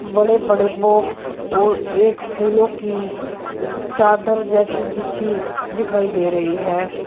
बड़े बड़े बॉक्स और एक फूलों की चादर जैसी बिछी दिखाई दे रही है।